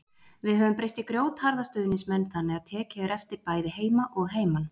Við höfum breyst í grjótharða stuðningsmenn þannig að tekið er eftir bæði heima og heiman.